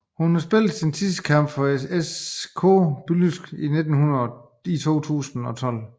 Hun spillede sin sidste kamp for ŽRK Budućnost i 2012